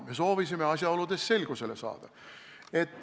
Me soovisime asjaoludes selgusele saada.